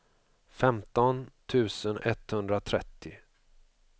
femton tusen etthundratrettio